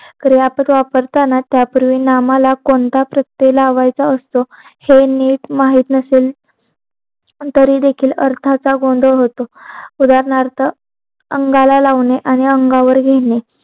क्रियापद वापरताना त्यापूर्वी नामाला कोणता प्रत्यय लावायचा असतो हे नीट माहित नसेल तरी देखील अर्थाचा गोंधळ होतो उदारणार्थ अंगाला लावणे आणि आंगावर घेणे